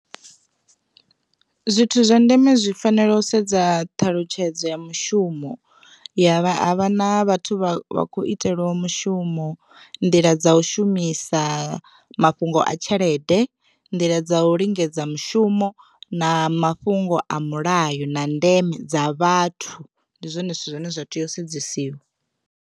Zwithu zwa ndeme zwi fanela u sedza ṱhalutshedzo ya mushumo ya vha ha vha na vhathu vha kho itelwaho mushumo nḓila dza u shumisa mafhungo a tshelede, nḓila dza u lingedza mushumo na mafhungo a mulayo na ndeme dza vhathu ndi zwone zwithu zwine zwa tea u sedzesiwa.